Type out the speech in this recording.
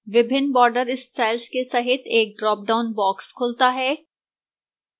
विभिन्न border styles के सहित एक ड्रापडाउन box खुलता है